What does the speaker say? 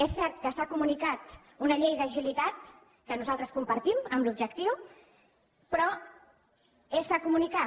és cert que s’ha comunicat una llei d’agilitat que nosaltres compartim en l’objectiu però s’ha comunicat